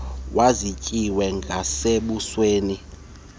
wazityikila nasebusweni ndingathetha